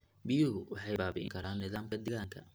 Biyuhu waxay baabi'in karaan nidaamka deegaanka.